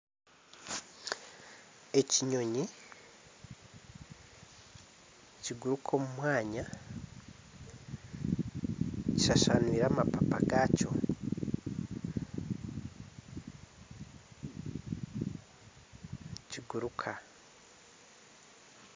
Ekinyonyi nikiguruka omu mwanya. Kishashanwiire amapapa gakyo nikiguruka.